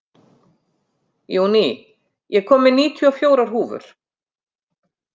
Júní, ég kom með níutíu og fjórar húfur!